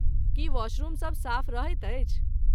की वाशरूमसब साफ रहैत अछि?